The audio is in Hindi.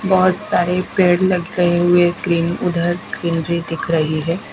बहुत सारे पेड़ लगे हुए ग्रीन उधर ग्रीनरी दिख रही है।